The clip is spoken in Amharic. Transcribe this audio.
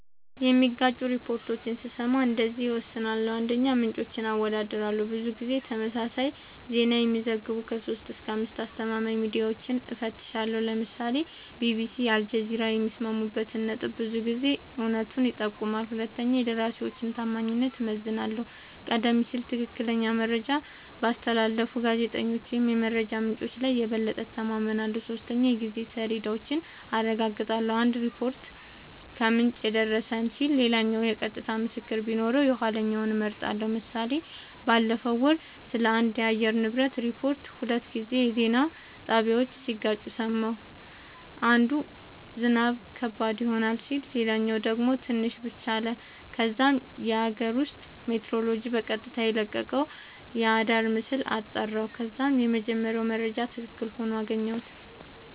የሚጋጩ ሪፖርቶችን ስሰማ እንደዚህ እወስናለሁ :- 1, ምንጮችን አወዳድራለሁ :-ብዙ ጊዜ ተመሳሳይ ዜና የሚዘግቡ 3-5አስተማማኝ ሚድያወችን እፈትሻለሁ ( ለምሳሌ ቢቢሲ አልጀዚራ )የሚስማሙበት ነጥብ ብዙ ጊዜ እውነቱን ይጠቁማል 2 የደራሲወችን ታማኝነት እመዝናለሁ :-ቀደም ሲል ትክክለኛ መረጃ ባስተላለፉ ጋዜጠኞች ወይም የመረጃ ምንጮች ላይ የበለጠ እተማመናለሁ። 3 የጊዜ ሰሌዳውን አረጋግጣለሁ :- አንድ ሪፖርት "ከምንጭ የደረሰን" ሲል ሌላኛው የቀጥታ ምስክር ቢኖረው የኋለኛውን እመርጣለሁ ## ምሳሌ ባለፈው ወር ስለአንድ የአየር ንብረት ሪፖርት ሁለት የዜና ጣቢያወች ሲጋጩ ሰማሁ። አንዱ "ዝናብ ከባድ ይሆናል " ሲል ሌላኛው ደግሞ "ትንሽ ብቻ " አለ። ከዛም የአገር ውስጥ ሜትሮሎጅ በቀጥታ የለቀቀውን አራዳር ምስል አጣራሁ ከዛም የመጀመሪያው መረጃ ትክክል ሆኖ አገኘሁት